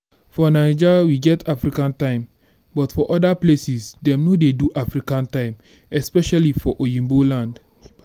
for naija we get african time but for oda places dem no dey do african time especially for oyiba land